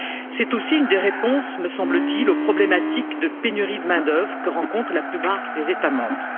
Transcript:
C'est aussi une des réponses, me semble t il, aux problématiques de pénurie de main d'œuvre que rencontrent la plupart des États membres.